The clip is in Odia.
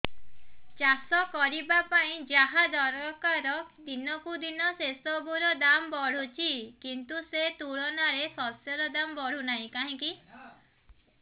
ଚାଷ କରିବା ପାଇଁ ଯାହା ଦରକାର ଦିନକୁ ଦିନ ସେସବୁ ର ଦାମ୍ ବଢୁଛି କିନ୍ତୁ ସେ ତୁଳନାରେ ଶସ୍ୟର ଦାମ୍ ବଢୁନାହିଁ କାହିଁକି